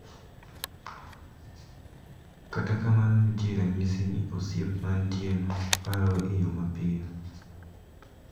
Kata kamano nitie ranyisi ni osiep mantieno barore e yo mapiyo.